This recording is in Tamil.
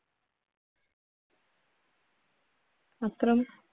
அப்புறம்